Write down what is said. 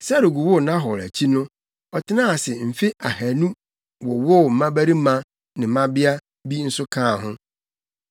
Serug woo Nahor akyi no ɔtenaa ase mfe ahannu wowoo mmabarima ne mmabea bi nso kaa ho.